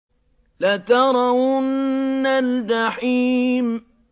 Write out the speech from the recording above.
لَتَرَوُنَّ الْجَحِيمَ